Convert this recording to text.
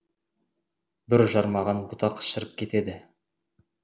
бүр жармаған бұтақ шіріп кетеді